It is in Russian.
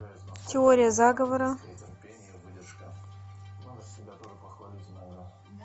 теория заговора